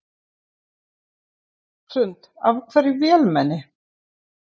Hrund: Af hverju vélmenni?